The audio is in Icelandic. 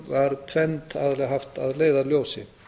var tvennt aðallega haft að leiðarljósi